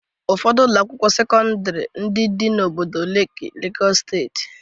Ụfọdụ Ụlọ akwụkwọ sekọndrị ndị dị n'obodo Leki Legọs steeti.